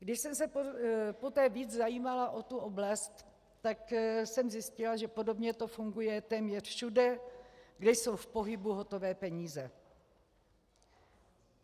Když jsem se poté víc zajímala o tu oblast, tak jsem zjistila, že podobně to funguje téměř všude, kde jsou v pohybu hotové peníze.